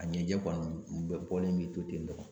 A ɲɛjɛ kɔni bɛɛ bɔlen bɛ to ten tɔ.